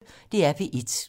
DR P1